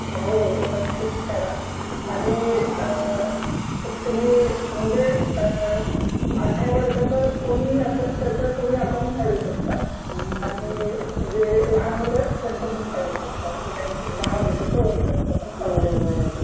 हो हो हो नक्कीच काढा आणि अ तुम्ही म्हणजे अ अठरा वर्षाचं कोणीही असेल त्याच तुम्ही अकॉउंट काढू शकता आणि जे लहान मूळ आहे त्यांचं पण काढू शकता अस काही नाही आहे दहा वर्षाचा वर काढू शकता.